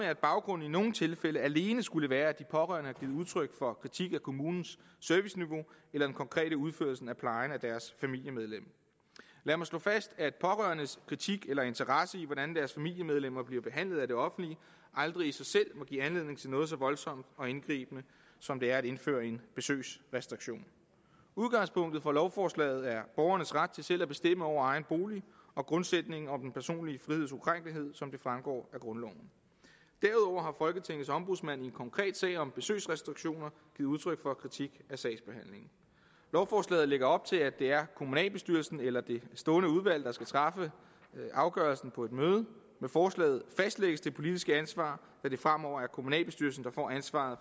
at baggrunden i nogle tilfælde alene skulle være at de pårørende har udtryk for kritik af kommunens serviceniveau eller den konkrete udførelse af plejen af deres familiemedlem lad mig slå fast at pårørendes kritik af eller interesse i hvordan deres familiemedlemmer bliver behandlet af det offentlige aldrig i sig selv må give anledning til noget så voldsomt og indgribende som det er at indføre en besøgsrestriktion udgangspunktet for lovforslaget er borgernes ret til selv at bestemme over egen bolig og grundsætningen om den personlige friheds ukrænkelighed som det fremgår af grundloven derudover folketingets ombudsmand i en konkret sag om besøgsrestriktioner givet udtryk for kritik af sagsbehandlingen lovforslaget lægger op til at det er kommunalbestyrelsen eller det stående udvalg der skal træffe afgørelsen på et møde med forslaget fastlægges det politiske ansvar da det fremover er kommunalbestyrelsen der får ansvaret